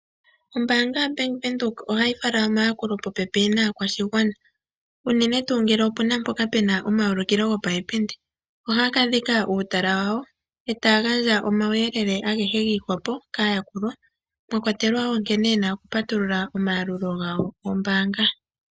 Ombaanga yaBank Windhoek ohayi fala omayakulo popepi naakwashigwana unene tuu ngele opena mpoka puna omayulukilo go payipindi, ohaya ka dhika uutala wawo e taya gandja omauyelele agehe giihwapo kaayakulwa mwakwatelwa nkene yena okupatulula omayalulo gawo goombaanga.